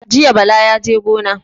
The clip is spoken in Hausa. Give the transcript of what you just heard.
Jiya Bala yaje gona.